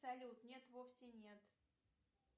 салют нет вовсе нет